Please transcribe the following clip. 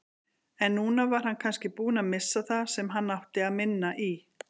En núna var hann kannski búinn að missa það sem hann átti minna í.